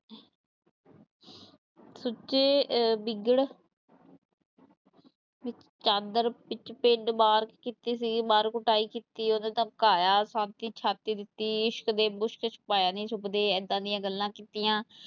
ਸੁਚੇ ਅਹ ਬਿਗੜ ਚਾਦਰ ਵਿੱਚ ਪਿੰਡ ਮਾਰ ਕੀਤੀ ਸੀਗੀ ਮਾਰ ਕੁਟਾਈ ਕੀਤੀ ਉਹਨੂੰ ਧਮਕਾਇਆ ਦਿੱਤੀ ਇਸ਼ਕ ਤੇ ਮੁਸ਼ਕ ਛੁਪਾਇਆ ਨੀ ਛੁੱਪਦੇ ਏਦਾਂ ਦੀਆਂ ਗੱਲਾਂ ਕੀਤੀਆਂ।